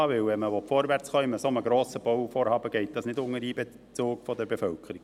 Denn wenn man in einem so grossen Bauvorhaben vorwärtskommen will, geht das nicht ohne Einbezug der Bevölkerung.